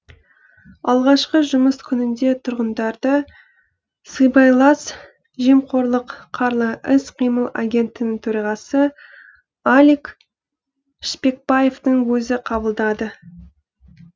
алғашқы жұмыс күнінде тұрғындарды сыбайлас жемқорлық қарлы іс қимыл агенттігінің төрағасы алик шпекбаевтың өзі қабылдады